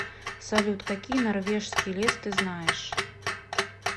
салют какие норвежский лес ты знаешь